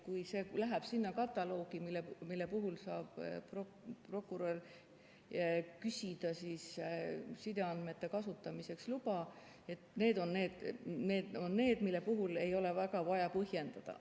Kui see läheb sinna kataloogi, mille puhul saab prokurör küsida sideandmete kasutamiseks luba, siis need on need, mille puhul ei ole väga vaja põhjendada.